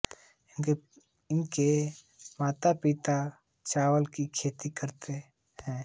उनके माता पिता चावल की खेती करते हैं